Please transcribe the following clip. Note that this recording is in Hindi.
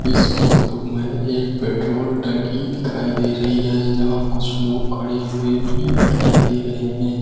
इस फोटो में एक पेट्रोल टंकी दिखाई दे रही है यहां कुछ लोग खड़े हुए भी दिखाई दे रहे हैं।